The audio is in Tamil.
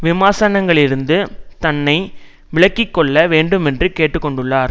விமர்சனங்களிலிருந்து தன்னை விலக்கி கொள்ள வேண்டுமென்று கேட்டு கொண்டுள்ளார்